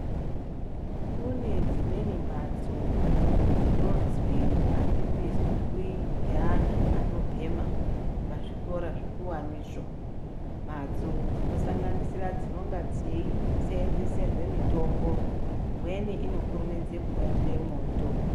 Kune dzimweni mbatso dzinonzi adzipindwi ngeantu ano bhema pazvikora zvikuwani izvo ,mbatso dzinosanganirisa dzinenge dzeisenzerwa mitombo imweni inokurumidza kubatire moto.